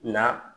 Nka